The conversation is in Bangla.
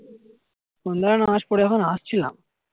সন্ধে বেলায় নামাজ পরে যখন আসছিলাম